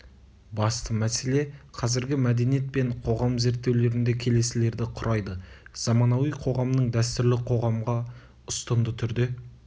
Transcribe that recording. басты мәселе қазіргі мәдениет пен қоғам зерттеулерінде келесілерді құрайды заманауи қоғамның дәстүрлі қоғамға ұстынды түрде